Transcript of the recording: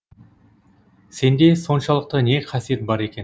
сенде соншалықты не қасиет бар екен